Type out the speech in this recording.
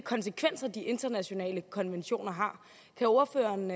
konsekvenser de internationale konventioner har kan ordføreren